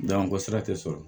Dan ko sira tɛ sɔrɔ